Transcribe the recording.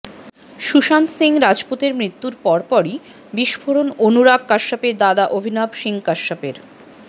সুশান্ত সিং রাজপুতের মৃত্যুর পরপরই বিস্ফোরণ অনুরাগ কাশ্যপের দাদা অভিনব সিং কাশ্যপের